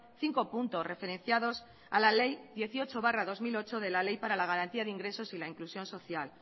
cinco puntos referenciados a la ley dieciocho barra dos mil ocho de la ley para la garantía de ingresos y la inclusión social